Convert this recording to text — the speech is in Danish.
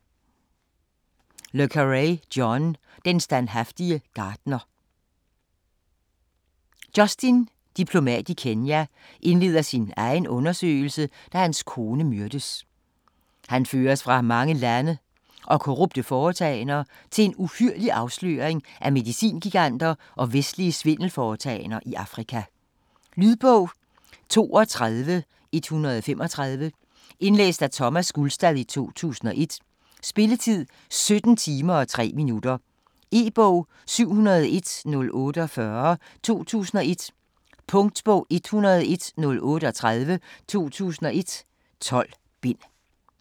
Le Carré, John: Den standhaftige gartner Justin - diplomat i Kenya - indleder sin egen undersøgelse, da hans kone myrdes. Han føres fra mange lande og korrupte foretagender til en uhyrlig afsløring af medicingiganter og vestlige svindelforetagender i Afrika. Lydbog 32135 Indlæst af Thomas Gulstad, 2001. Spilletid: 17 timer, 3 minutter. E-bog 701048 2001. Punktbog 101038 2001. 12 bind.